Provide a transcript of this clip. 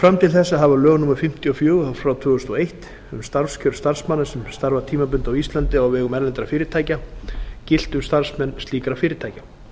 fram til þessa hafa lög númer fimmtíu og fjögur tvö þúsund og eitt um starfskjör starfsmanna sem starfa tímabundið á íslandi á vegum erlendra fyrirtækja gilt um starfsmenn slíkra fyrirtækja